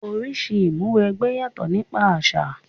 Oríṣi Ìmúw'ẹgbẹ́ yàtò nípa àṣà